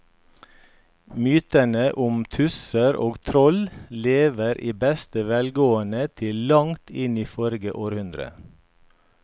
Mytene om tusser og troll levde i beste velgående til langt inn i forrige århundre.